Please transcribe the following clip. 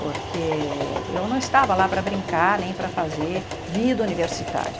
Porque eu não estava lá para brincar, nem para fazer vida universitária.